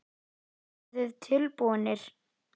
Eruð þið tilbúnir?